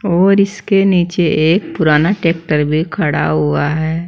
और इसके नीचे एक पुराना टैक्टर भी खड़ा हुआ है।